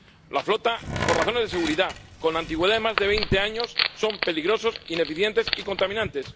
La flota, por razones de seguridad, con antigüedad de más de veinte años, es peligrosa, ineficiente y contaminante.